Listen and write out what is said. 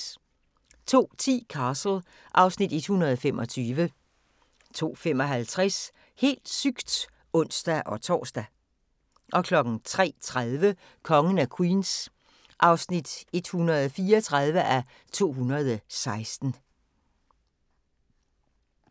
02:10: Castle (Afs. 125) 02:55: Helt sygt! (ons-tor) 03:30: Kongen af Queens (134:216)